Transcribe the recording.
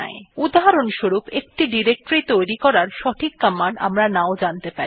উদাহরণস্বরূপ একটি ডিরেক্টরী তৈরি করার সঠিক কমান্ড আমরা নাও জানতে পারি